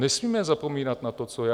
Nesmíme zapomínat na to, co je.